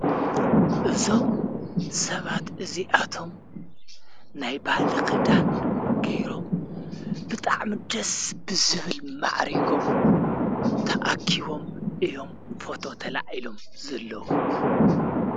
እዞም ሰባት እዙይኣቶም ናይ ባሊ ኽዘለዉገይሮም ብጣዕ ምደስ ብዝብል መዕሪጎም ተኣኪዎም እዮም ፈቶ ተላዒሎም ዘለዉ።